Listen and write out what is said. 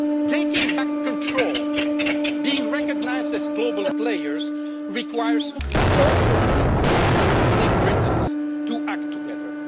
Taking back control, being recognised as global players, requires all Europeans, including Britons, to act together.